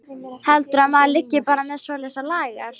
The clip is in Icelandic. Heldurðu að maður liggi bara með svoleiðis á lager.